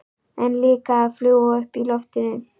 En líka að fljúga uppi í loftinu.